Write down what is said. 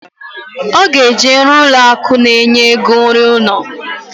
Oga eje ruo ụlọ akụ na enye ego iru uno